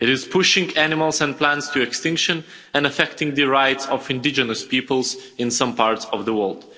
It is pushing animals and plants to extinction and affecting the rights of indigenous peoples in some parts of the world.